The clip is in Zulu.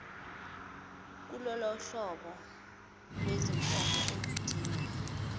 kulolohlobo lwezinkomo oludinga